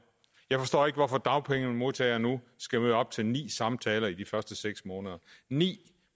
jeg forstår ikke hvorfor dagpengemodtagere nu skal møde op til ni samtaler i de første seks måneder ni